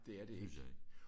Det synes jeg ikke